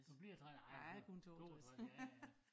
Du bliver 3 og ej 62 ja ja